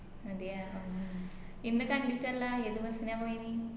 അതെയ ഉം ഉം ഇന്ന് കണ്ടിറ്റ്ലല്ല ഏത് bus നാ പോയിന്